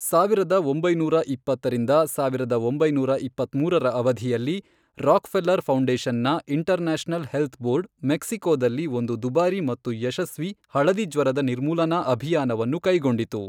ಸಾವಿರದ ಒಂಬೈನೂರ ಇಪ್ಪತ್ತರಿಂದ ಸಾವಿರದ ಒಂಬೈನೂರ ಇಪ್ಪತ್ಮೂರರ ಅವಧಿಯಲ್ಲಿ, ರಾಕ್ಫೆಲ್ಲರ್ ಫೌಂಡೇಶನ್ನ ಇಂಟರ್ನ್ಯಾಷನಲ್ ಹೆಲ್ತ್ ಬೋರ್ಡ್, ಮೆಕ್ಸಿಕೋದಲ್ಲಿ ಒಂದು ದುಬಾರಿ ಮತ್ತು ಯಶಸ್ವಿ ಹಳದಿ ಜ್ವರದ ನಿರ್ಮೂಲನಾ ಅಭಿಯಾನವನ್ನು ಕೈಗೊಂಡಿತು.